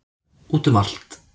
Út um allt.